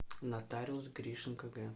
нотариус гришин кг